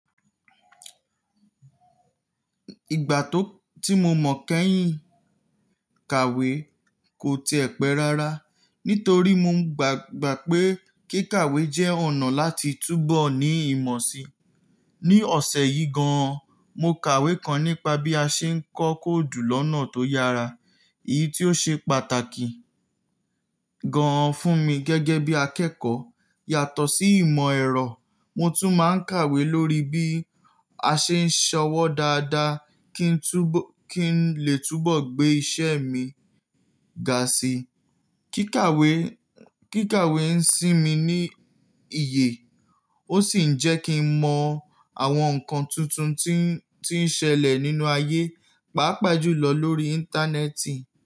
Ìgbà tó tí mo mọ̀ kẹ́yìn, kàwé kò ti ẹ̀pẹ̀ rárá, nítorí mo gbàgbá pé kí kàwé jẹ́ ọ̀nà láti túbọ̀ ní ìmọ̀ si. Ni ọ̀sẹ̀ yìí gan an, mo kàwé kan nípa bí a ṣe ń kọ́ kóòdù lọ́nà tó yára, èyí tí ó ṣe pàtàkì gan an fún mi gẹ́gẹ́ bí akẹ́kọ̀ọ́. Yàtọ̀ sí ìmọ̀ ẹ̀rọ, mo tún máa ń kàwé lórí bí a ṣe ń ṣọwọ́ dáadáa kí n lè túbọ̀ gbé iṣẹ́ mi ga si. Kíkàwé, kíkàwé ń sinmi ní iye, ó sì ń jẹ́ kí n mọ àwọn nǹkan tuntun tí ń, tí ń ṣẹlẹ̀ nínú ayé, pàápàá jùlọ lórí Íńtánẹ́ẹ̀tì.